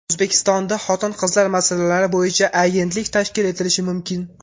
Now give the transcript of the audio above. O‘zbekistonda xotin-qizlar masalalari bo‘yicha agentlik tashkil etilishi mumkin.